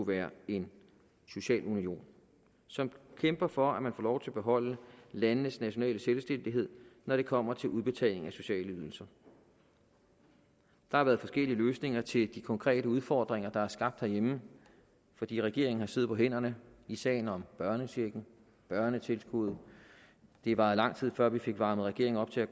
være en social union som kæmper for at man får lov til at beholde landenes nationale selvstændighed når det kommer til udbetaling af sociale ydelser der har været forskellige løsninger til de konkrete udfordringer der er skabt herhjemme fordi regeringen har siddet på hænderne i sagen om børnechecken børnetilskud det var en lang tid før vi fik varmet regeringen op til at